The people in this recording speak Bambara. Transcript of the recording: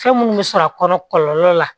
Fɛn minnu bɛ sɔrɔ a kɔnɔ kɔlɔlɔ la